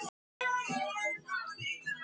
Ég hef oft sagt þér það.